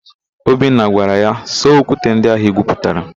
Obinna gwara ya, "saa okwute ndị ahụ igwuputara"!